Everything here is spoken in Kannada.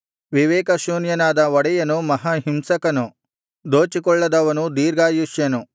ವಿವೇಕಶೂನ್ಯನಾದ ಒಡೆಯನು ಮಹಾ ಹಿಂಸಕನು ದೋಚಿಕೊಳ್ಳದವನು ದೀರ್ಘಾಯುಷ್ಯನು